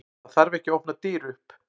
Það þarf ekki að opna dyr upp.